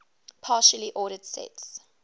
partially ordered sets